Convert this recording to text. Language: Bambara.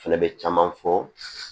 Fɛnɛ bɛ caman fɔ